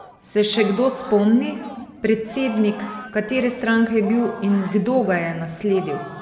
Se še kdo spomni, predsednik katere stranke je bil in kdo ga je nasledil?